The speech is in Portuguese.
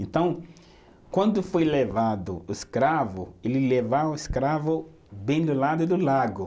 Então, quando foi levado o escravo, ele levava o escravo bem do lado do lago.